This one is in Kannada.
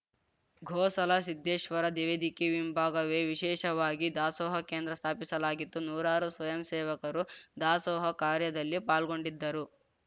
ಗೋಸಲ ಸಿದ್ದೇಶ್ವರ ದೇವಿಕೆ ಹಿಂಭಾಗವೇ ವಿಶೇಷವಾಗಿ ದಾಸೋಹ ಕೇಂದ್ರ ಸ್ಥಾಪಿಸಲಾಗಿತ್ತು ನೂರಾರು ಸ್ವಯಂಸೇವಕರು ದಾಸೋಹ ಕಾರ್ಯದಲ್ಲಿ ಪಾಲ್ಗೊಂಡಿದ್ದರು